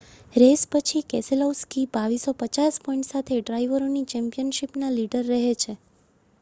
race પછી Keselowski 2,250 point સાથે ડ્રાઇવરોની ચૅમ્પિયનશિપના લીડર રહે છે